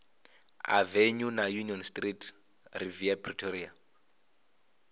avenue na union street riviera pretoria